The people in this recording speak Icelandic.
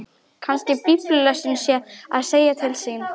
Kannski biblíulesturinn sé að segja til sín.